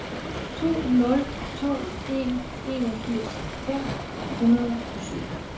to nul to en enogfirs fem hundrede og syv